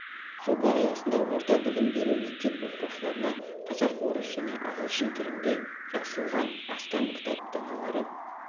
жоба аясында орта білім беру мектеп оқушыларына қазақ орыс және ағылшын тілінде жазылған астам кітап даналары